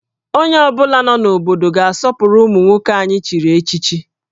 Onye ọ bụla nọ n'obodo a ga-asọpụrụ ụmụ nwoke anyị echiri echichi